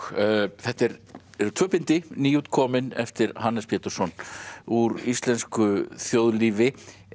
þetta eru tvö bindi nýútkomin eftir Hannes Pétursson úr íslensku þjóðlífi